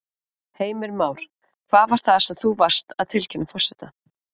Heimir Már: Hvað var það sem þú varst að tilkynna forseta?